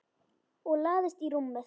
Og lagðist í rúmið.